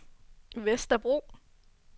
Vesterbro